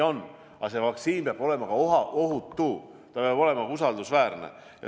Samas aga peab vaktsiin olema ohutu, ta peab olema usaldusväärne.